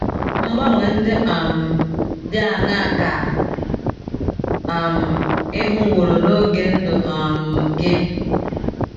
Mgbanwe ndị um dị aṅaa ka um ị hụworo n’oge ndụ um gị?